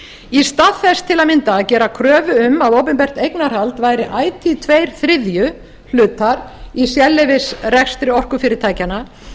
í stað þess til að mynda að gera kröfu um að opinbert eignarhald væri ætíð tveir þriðju hlutar í sérleyfisrekstri orkufyrirtækjanna er